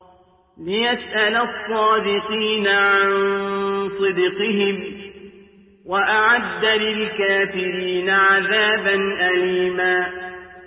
لِّيَسْأَلَ الصَّادِقِينَ عَن صِدْقِهِمْ ۚ وَأَعَدَّ لِلْكَافِرِينَ عَذَابًا أَلِيمًا